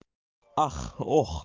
ах ох